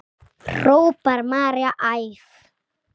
hrópar María æf.